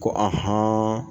Ko